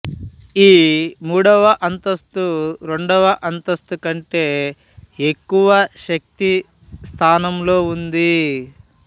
ఈ మూడవ అంతస్తు రెండవ అంతస్తు కంటే ఎక్కువ శక్తి స్థానంలో ఉంటుంది